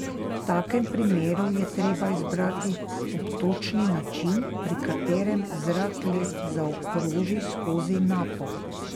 V takem primeru je treba izbrati obtočni način, pri katerem zrak le zaokroži skozi napo.